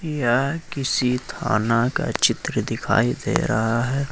यह किसी थाना का चित्र दिखाई दे रहा है।